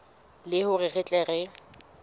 le hore re tle re